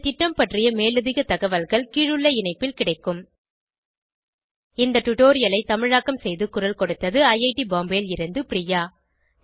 இந்த திட்டம் பற்றிய மேலதிக தகவல்கள் கீழுள்ள இணைப்பில் கிடைக்கும் httpspoken tutorialorgNMEICT Intro இந்த டுடோரியலை தமிழாக்கம் செய்து குரல் கொடுத்தது ஐஐடி பாம்பேவில் இருந்து பிரியா